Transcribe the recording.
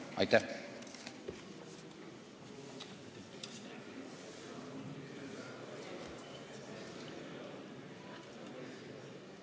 Aitäh!